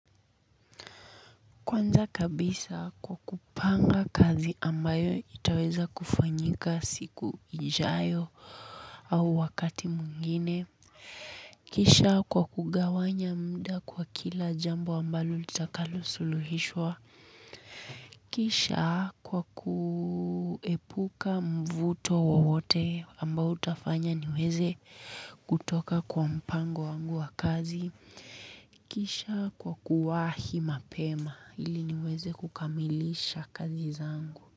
Kwanza kabisa kwa kupanga kazi ambayo itaweza kufanyika siku ijayo au wakati mwingine. Kisha kwa kugawanya muda kwa kila jambo ambalo litakalo suluhishwa. Kisha kwa kuepuka mvuto wowote ambao utafanya niweze kutoka kwa mpango wangu wa kazi. Kisha kwa kuwahi mapema ili niweze kukamilisha kazi zangu.